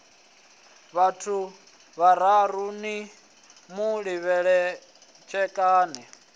vhaṋu vhararu ni mu litshelani